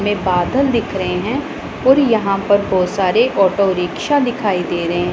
में बादल दिख रहे हैं और यहां पर बहुत सारे ऑटो रिक्शा दिखाई दे रहे--